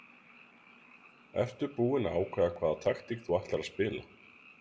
Ertu búinn að ákveða hvaða taktík þú ætlar að spila?